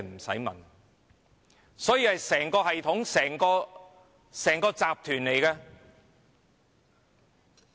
這是一整個系統、一整個集團。